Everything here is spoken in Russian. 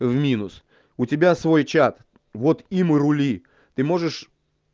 в минус у тебя свой чат вот им и рули ты можешь